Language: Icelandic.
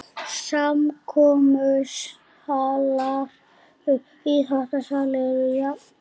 Samkomusalur og íþróttasalur eru jafnstórir